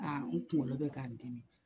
Aa n kunkolo bɛ k'a n dimi